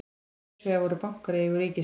hins vegar voru bankar í eigu ríkisins